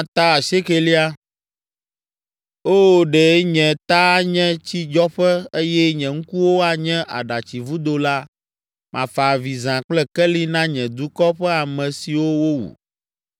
Oo, ɖe nye ta anye tsidzɔƒe eye nye ŋkuwo anye aɖatsivudo la, mafa avi zã kple keli na nye dukɔ ƒe ame siwo wowu.